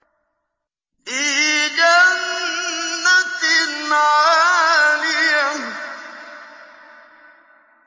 فِي جَنَّةٍ عَالِيَةٍ